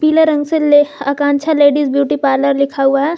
पीले रंग से ले आकांक्षा लेडीज ब्यूटी पार्लर लिखा हुआ है।